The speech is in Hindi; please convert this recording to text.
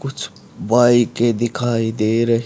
कुछ बाईके दिखाई दे र--